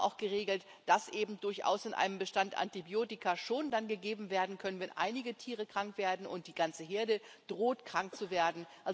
Wir haben auch geregelt, dass eben durchaus in einem Bestand Antibiotika schon dann gegeben werden können, wenn einige Tiere krank werden und die ganze Herde droht, krank zu werden.